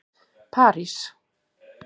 París